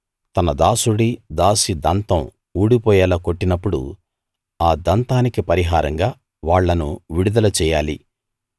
తన దాసుడి దాసి దంతం ఊడిపోయేలా కొట్టినప్పుడు ఆ దంతానికి పరిహారంగా వాళ్ళను విడుదల చెయ్యాలి